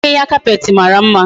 Ahihia carpet mara mma